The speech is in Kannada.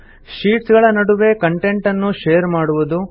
ಶೀಟ್ಸ್ ಗಳ ನಡುವೆ ಕಂಟೆಂಟ್ ನ್ನು ಷೇರ್ ಮಾಡುವುದು